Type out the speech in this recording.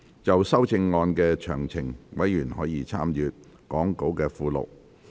就修正案詳情，委員可參閱講稿附錄。